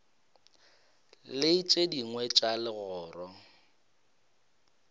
le tše dingwe tša legoro